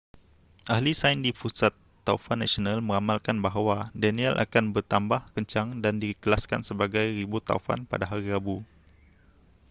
ahli sains di pusat taufan nasional meramalkan bahawa danielle akan bertambah kencang dan dikelaskan sebagai ribut taufan pada hari rabu